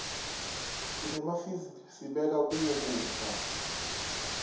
senemafizij sibeka kuwo kudza